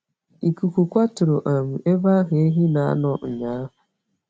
Ikuku kwaturu um ebe ahụ ehi na na anọ unyahu